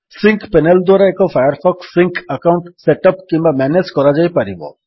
sync panel ଦ୍ୱାରା ଏକ Firefox sync account set up କିମ୍ୱା ମ୍ୟାନେଜ୍ କରାଯାଇପାରିବ